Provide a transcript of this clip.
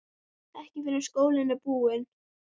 Ekki fyrr en skólinn er búinn